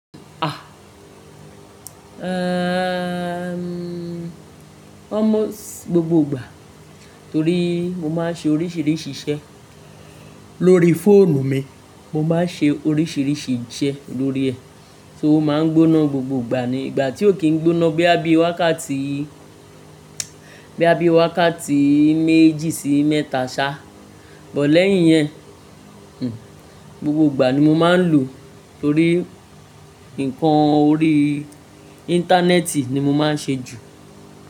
Ah, ehmm almost gbogbo ìgbà torí mo máa ń ṣe oríṣìíríṣìí iṣẹ́ lórí fóònù mi. Mo máa ń ṣe oríṣìíríṣìí iṣẹ́ lórí ẹ̀, so o máa ń gbóná gbogbo ìgbà ni. Ìgbà tí ò kìí gbóná bóyá bí wákàtí, bóyá bí wákàtí méjì sí mẹ́ta ṣá, bọ̀ọ́ lẹ́yìn yẹn, hm, gbogbo ìgbà ni mo máa ń lò ó torí nǹkan orí íńtánẹ́ẹ̀tì ni mo máa ń ṣe jù.